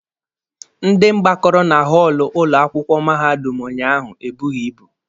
Ndị gbakọrọ na họọlụ ụlọ akwụkwọ mahadum unyaahụ ebughi ibu.